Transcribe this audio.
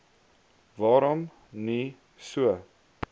waarom nie so